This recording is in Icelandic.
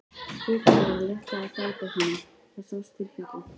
Þokunni var að létta af dalbotninum, það sást til fjalla.